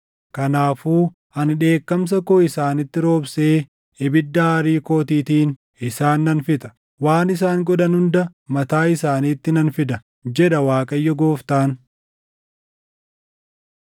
Kanaafuu ani dheekkamsa koo isaanitti roobsee ibidda aarii kootiitiin isaan nan fixa; waan isaan godhan hunda mataa isaaniitti nan fida, jedha Waaqayyo Gooftaan.”